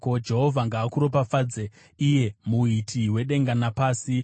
Jehovha ngaakuropafadze, iye muiti wedenga napasi.